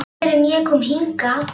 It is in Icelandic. Ekki fyrr en ég kom hingað.